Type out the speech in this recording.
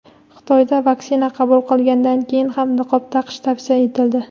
Xitoyda vaksina qabul qilgandan keyin ham niqob taqish tavsiya etildi.